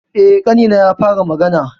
E, ƙanina ya fara magana.